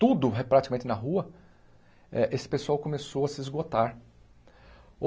tudo é praticamente na rua, eh esse pessoal começou a se esgotar.